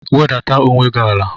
Wedata onwe gị ala!